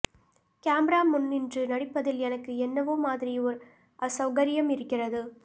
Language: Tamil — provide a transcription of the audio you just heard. கேமரா முன் நின்று நடிப்பதில் எனக்கு என்னவோ மாதிரி ஓர் அசெளகரியம் இருக்கிறது